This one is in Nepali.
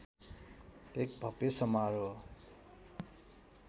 एक भव्य समारोह